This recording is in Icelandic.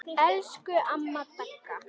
Elsku amma Dagga.